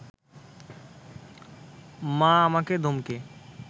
মা আমাকে ধমকে